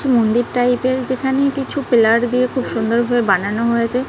মন্দির টাইপ -এর যেখানে কিছু পিলার দিয়ে খুব সুন্দরভাবে বানানো হয়েছে।